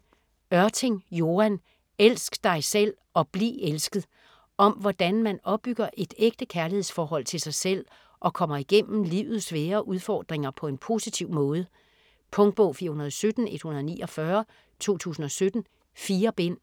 Ørting, Joan: Elsk dig selv og bliv elsket Om hvordan man opbygger et ægte kærlighedsforhold til sig selv og kommer igennem livets svære udfordringer på en positiv måde. Punktbog 417149 2017. 4 bind.